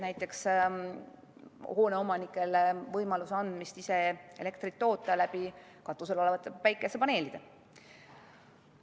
Näiteks võib anda hoone omanikule võimaluse ise elektrit toota katusel olevate päikesepaneelide abil.